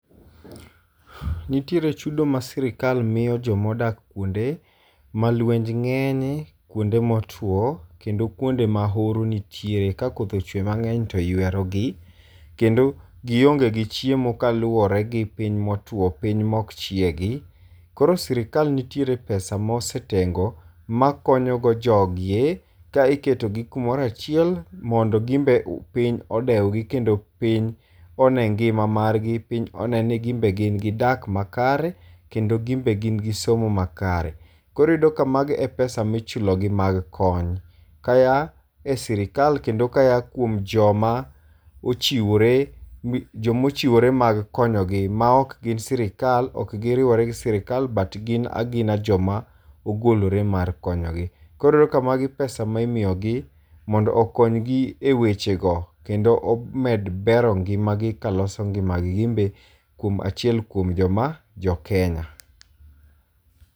Nitiere chudo ma sirkal miyo jo ma odak kuonde ma lwenj ng'enye, kuonde motwo, kendo kuonde ma horo nitier, ka koth ochwe mang'eny to ywero gi. Kendo gionge gi chiemo kaluwore gi piny motwo, piny mok chiegi. Koro sirkal nitiere pesa mosetengo makonyo go jogie ka iketo gi kumoro achiel mondo gin be piny odew gi kendo piny one ngima margi, piny one ni gin be gin gi dak ma kare kendo gin be gin gi somo makare. Koro iyudo ka mago e pesa michulo gi mag kony. Kaya e sirkal, kendo kaya kuom joma ochiwore, joma ochiwore mag konyo gi ma ok gin sirkal, ok giriwore gi sirkal, but gin agina joma ogolore mar konyo gi. Koro ka magi pesa ma imiyo gi mondo okony gi e weche go kendo omed bero ngima gi kaloso ngima gi ginbe kuom achiel kuom joma jo Kenya.